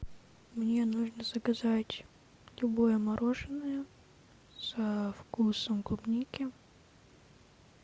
мне нужно заказать любое мороженое со вкусом клубники